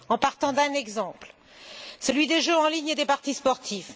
Partons d'un exemple celui des jeux en ligne et des paris sportifs.